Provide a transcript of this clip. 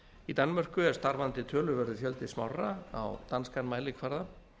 í danmörku er starfandi töluverður fjöldi smárra á danskan mælikvarða